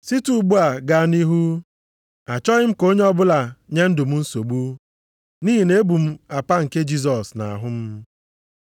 Site ugbu a gaa nʼihu, achọghị m ka onye ọbụla nye ndụ m nsogbu, nʼihi na-ebu m apa nke Jisọs nʼahụ m.